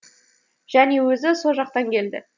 және өзі со жақтан келді